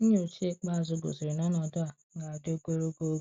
Nyocha ikpeazụ gosiri na ọnọdụ a ga-adị ogologo oge.